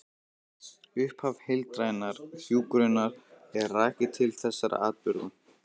Upphaf heildrænnar hjúkrunar er rakið til þessara atburða.